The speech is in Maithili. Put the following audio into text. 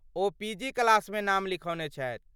ओ पीजी क्लासमे नाम लिखौने छथि।